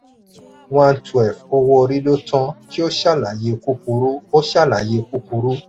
one twelve owó-orí lo tan kí o ṣàlàyé kúkúrú. o ṣàlàyé kúkúrú.